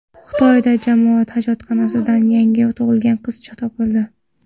Xitoyda jamoat hojatxonasidan yangi tug‘ilgan qizcha topildi.